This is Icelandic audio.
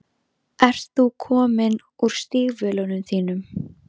Ert þú kominn úr stígvélunum þínum?